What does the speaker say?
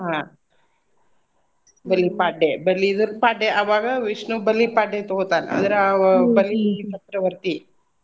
ಆಹ್ ಬಲಿಪಾಡ್ಡೆ ಬಲಿ ಇದ್ರ್ ದ್ದ್ ಪಾಡ್ಡೆ ಅವಾಗ ವಿಷ್ಣು ಬಲಿ ಪಾಡ್ಡೆಗ್ ತೊಗೋತಾನ ಅಂದ್ರ ಅವ ಬಲಿ ಚಕ್ರವರ್ತಿ.